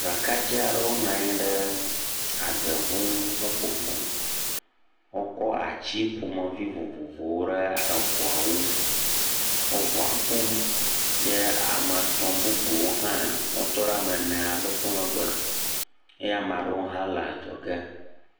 Ɖekadze aɖewo nɔ anyi ɖe adeŋu ŋu nɔƒoƒom, wokɔ ati ƒomevi vovovowo ɖe eŋuawo ŋu, wo ŋua ƒom, ye ame etɔ̃ bubu ha wotɔ ɖe ame ene aɖewo megbe, eye ame aɖewo hã le adzɔ ge.